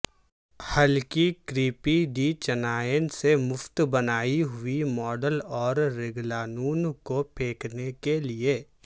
ہلکی کریپی ڈی چنائن سے مفت بنائی ہوئی ماڈل اور رگلانوں کو پھینکنے کے لئے